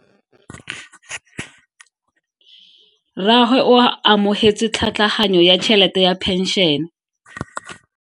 Rragwe o amogetse tlhatlhaganyo ya tšhelete ya phenšene.